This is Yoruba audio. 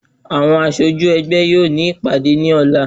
Àwọn aṣojú ẹgbẹ́ yóò ní ìpàdé ní ọ̀lá